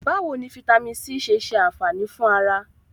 Báwo ni fítámìnì C ṣe ṣe ànfàní fún ara?